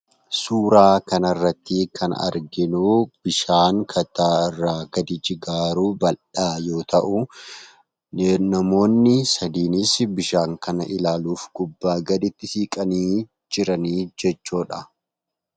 Suuraa kanarratti kan arginuu bishaan kattaa irraa gadi jigaa jiruu bal'aa yoo ta'u namoonni sadiinis bishaan kana ilaaluuf gubbaa gadi itti siqanii kan jiranii jechuudha.